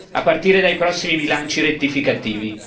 a partire dai prossimi bilanci rettificativi.